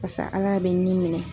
basa Ala bɛ nin minɛ